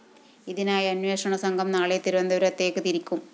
ഇതിനായി അന്വേഷണ സംഘം നാളെ തിരുവനന്തപുരത്തേക്ക് തിരിക്കും